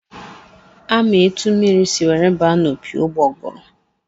A ma etu mmiri si were baa n'opi ụgbọgụrụ?